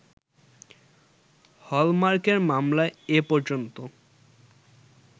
হলমার্কের মামলায় এ পর্যন্ত